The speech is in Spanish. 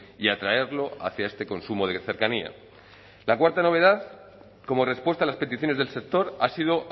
y atraerlo hacia este consumo de cercanía la cuarta novedad como respuesta a las peticiones del sector ha sido